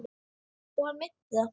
Og hann meinti það.